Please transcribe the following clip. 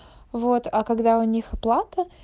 вот а когда у них оплата